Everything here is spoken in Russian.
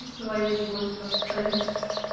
в своей позе там стоит